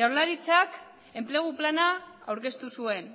jaurlaritzak enplegu plana aurkeztu zuen